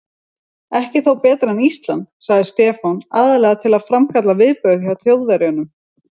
Ekki þó betra en Ísland? sagði Stefán, aðallega til að framkalla viðbrögð hjá Þjóðverjanum.